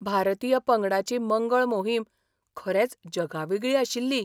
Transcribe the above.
भारतीय पंगडाची मंगळ मोहीम खरेंच जगावेगळी आशिल्ली!